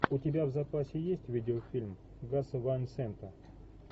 у тебя в запасе есть видеофильм гаса ван сента